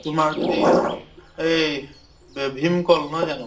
তোমাৰ যদি য়েই, ভীম কল, নহয় জানো